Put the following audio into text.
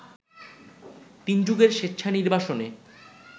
তিন যুগের স্বেচ্ছা নির্বাসনে